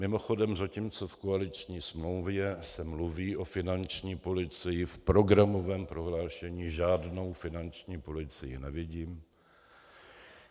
Mimochodem, zatímco v koaliční smlouvě se mluví o finanční policii, v programovém prohlášení žádnou finanční policii nevidím.